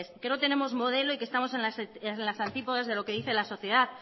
que no tenemos modelo y que estamos en las antípodas de lo que nos dice la sociedad